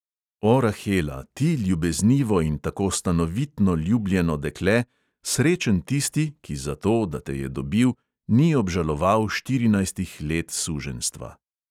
O, rahela, ti ljubeznivo in tako stanovitno ljubljeno dekle, srečen tisti, ki zato, da te je dobil, ni obžaloval štirinajstih let suženjstva!